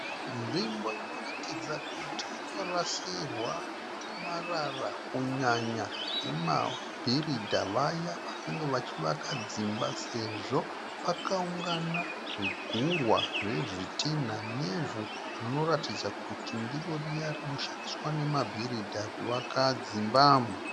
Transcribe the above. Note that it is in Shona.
Nzvimbo inoratidza kuti inorasirwa marara kunyanya nemabhiridha vaya vanenge vachivaka dzimba sezvo pakaungana zvigurwa zvezvitinha nevhu rinoatidza kuti ndiro riya rinoshandiswa nemabhiridha kuvaka dzimba.